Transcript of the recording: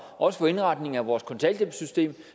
også for indretningen af vores kontanthjælpssystem